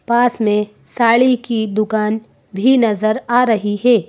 पास में साड़ी की दुकान भी नजर आ रही है।